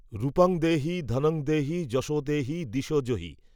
রূপং দেহি, ধনং দেহি, যশো দেহি, দ্বিষো জহি